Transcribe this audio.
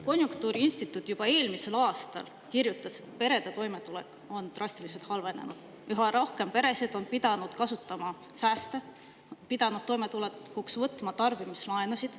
Konjunktuuriinstituut juba eelmisel aastal kirjutas, et perede toimetulek on drastiliselt halvenenud, üha rohkem peresid on pidanud kasutama sääste, pidanud toimetulekuks võtma tarbimislaenusid.